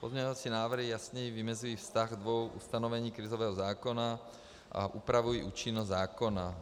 Pozměňovací návrhy jasněji vymezují vztah dvou ustanovení krizového zákona a upravují účinnost zákona.